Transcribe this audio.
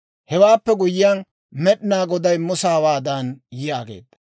Hewaappe guyyiyaan, Med'inaa Goday Musa hawaadan yaageedda;